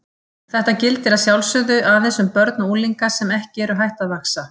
Þetta gildir að sjálfsögðu aðeins um börn og unglinga sem ekki eru hætt að vaxa.